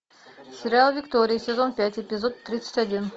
сериал виктория сезон пять эпизод тридцать один